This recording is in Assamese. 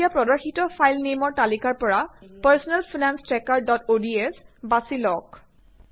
এতিয়া প্ৰদৰ্শিত ফাইল নেইমৰ তালিকাৰ পৰা personal finance tracker dot ods বাচি লওঁক